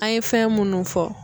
An ye fɛn munnu fɔ.